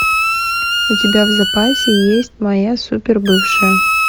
у тебя в запасе есть моя супер бывшая